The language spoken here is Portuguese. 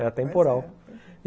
É atemporal.